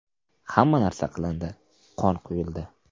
Hamma narsa qilindi, qon quyildi.